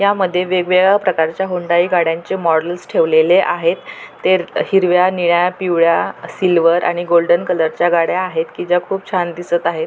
यामध्ये वेगवेगळ्या प्रकारच्या हुंडाई गाड्यांचे मॉडेल्स ठेवलेले आहेत ते अ हिरव्या निळ्या पिवळ्या सिल्वर आणि गोल्डन कलर च्या गाड्या आहेत कि ज्या खूप छान दिसत आहेत.